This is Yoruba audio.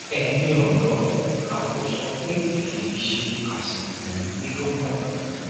ẹyin ọdọ a kò sọ pé kì í ṣe àsìkò yín ló kàn